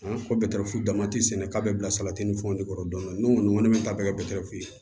ko dama ti sɛnɛ k'a bɛ bila salati ni fɛnw de kɔrɔ dɔn n'u bɛ taa bɛɛ kɛ fu ye